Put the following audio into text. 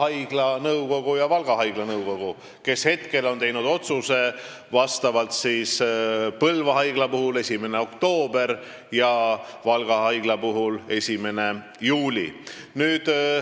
Need on Põlva haigla ja Valga haigla nõukogu, kes on teinud otsuse, et Põlva haiglas on see kuupäev 1. oktoober ja Valga haiglas 1. juuli.